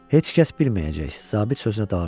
Heç kəs bilməyəcək, zabit sözünə davam etdi.